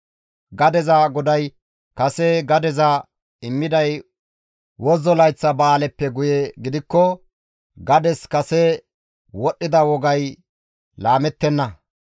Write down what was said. Gadeza goday kase gadeza immiday wozzo layththa ba7aaleppe guye gidikko gades kase wodhdhida wogay laamettenna.